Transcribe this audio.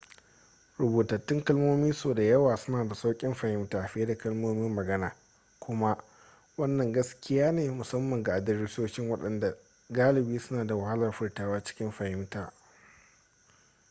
rubutattun kalmomi sau da yawa suna da sauƙin fahimta fiye da kalmomin magana kuma wannan gaskiya ne musamman ga adiresoshin waɗanda galibi suna da wahalar furtawa cikin fahimta